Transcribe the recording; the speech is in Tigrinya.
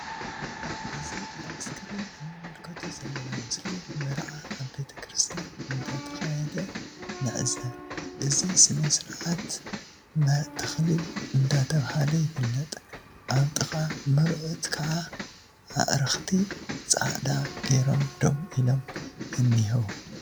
እዚ ኣብ እስክሪን እንምልከቶ ዘለና ምስሊ መርዓ ኣብ ቤተ ክርስትያ እንዳተከያደ ንዕዘብ ።እዚ ስነ ስርዓት ስርዓተ ተክሊል እንዳተብሃለ ይፍለጥ። ኣብ ጥቃ መርዑት ክዓ ኣዕርክቲ ጻዕዳ ገይሮም ደው ኢሎም እኒሀዉ።